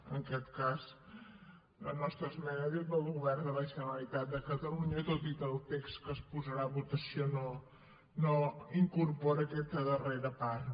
en aquest cas la nostra esmena diu del govern de la generalitat de catalunya tot i que el text que es posarà a votació no incorpora aquesta darrera part